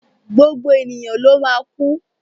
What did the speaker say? Gbogbo ènìyàn ló máa kú.